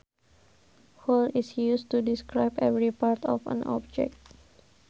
Whole is used to describe every part of an object